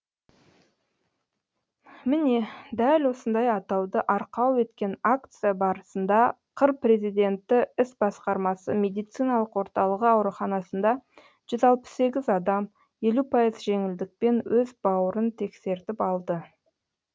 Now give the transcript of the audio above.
міне дәл осындай атауды арқау еткен акция барысында қр президенті іс басқармасы медициналық орталығы ауруханасында жүз алпыс сегіз адам елу пайыз жеңілдікпен өз бауырын тексертіп алды